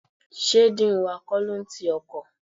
Sé dean wa kọ́ ló n ti ọkọ̀?